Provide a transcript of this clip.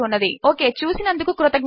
okay చూసినందుకు కృతజ్ఞతలు